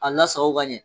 A lasago ka ɲɛ